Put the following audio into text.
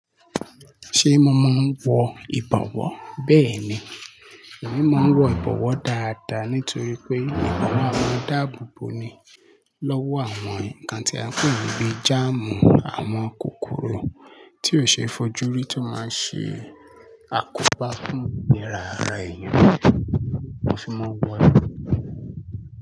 Ṣé mo máa ń wọ ìbọ̀wọ́? Bẹ́ẹ̀ ni, èmi máa ń wọ ìbọ̀wọ́ dáadáa nítorí pé ìbọ̀wọ́ máa ń dáàbò bo ni lọ́wọ́ àwọn nǹkan tí a kò mọ bíi germ àwọn kòkòrò tí ò ṣe é fojú rí tó máa ṣe àkópá fún ìyèrá ara èèyàn, mo sì máa ń wọ ìbọ̀wọ́.